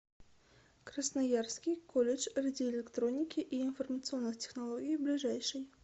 красноярский колледж радиоэлектроники и информационных технологий ближайший